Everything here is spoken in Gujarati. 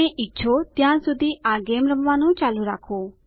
તમે ઈચ્છો ત્યાં સુધી આ ગેમ રમવાનું ચાલુ રાખો